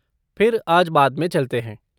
फिर आज बाद में चलते हैं।